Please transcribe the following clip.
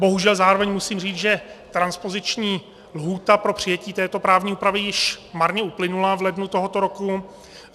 Bohužel zároveň musím říct, že transpoziční lhůta pro přijetí této právní úpravy již marně uplynula v lednu tohoto roku.